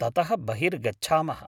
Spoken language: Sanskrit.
ततः बहिर्गच्छामः।